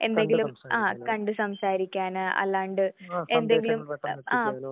കണ്ട് സംസാരിക്കാൻ സന്ദേശങ്ങൾ എത്തിക്കാന്